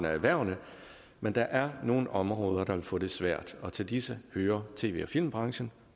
erhvervene men der er nogle områder der vil få det svært og til disse hører tv og filmbrancen